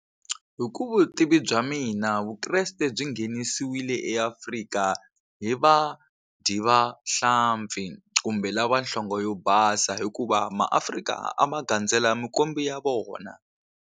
Hi ku vutivi bya mina Vukreste byi nghenisewile eAfrika hi vadyi va hlampfi kumbe lava nhlonge yo basa hikuva maAfrika a ma gandzela mikwembu ya vona.